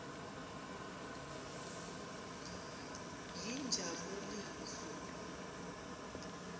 yinjabuliso